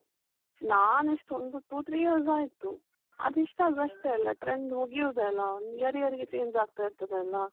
ನಾನ್ ಎಷ್ಟು ಒಂದು two-three years ಆಯ್ತು, ಅದು ಎಷ್ಟಾದ್ರೂ ಅಷ್ಟೇ ಅಲ trend ಮುಗಿಯುದೆ ಅಲ, ಒಂದ್ year year ಗೆ change ಆಗ್ತಾ ಇರ್ತದೆ ಅಲ.